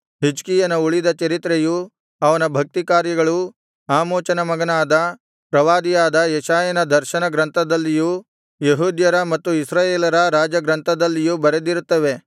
ಹಿಜ್ಕೀಯನ ಉಳಿದ ಚರಿತ್ರೆಯೂ ಅವನ ಭಕ್ತಿ ಕಾರ್ಯಗಳೂ ಆಮೋಚನ ಮಗನಾದ ಪ್ರವಾದಿಯಾದ ಯೆಶಾಯನ ದರ್ಶನಗ್ರಂಥದಲ್ಲಿಯೂ ಯೆಹೂದ್ಯರ ಮತ್ತು ಇಸ್ರಾಯೇಲರ ರಾಜ ಗ್ರಂಥದಲ್ಲಿಯೂ ಬರೆದಿರುತ್ತವೆ